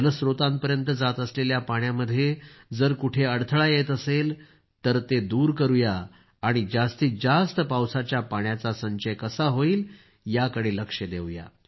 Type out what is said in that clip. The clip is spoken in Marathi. जलस्त्रोतांपर्यंत जात असलेल्या पाण्यामध्ये जर कुठे अडथळा येत असेल तर ते दूर करूया आणि जास्तीत जास्त पावसाच्या पाण्याचा संचय कसा होईल याकडे लक्ष देऊया